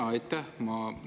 Jaa, aitäh!